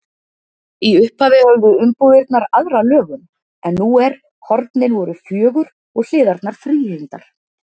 Í upphafi höfðu umbúðirnar aðra lögun en nú er: hornin voru fjögur og hliðarnar þríhyrndar.